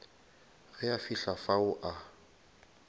ge a fihla fao a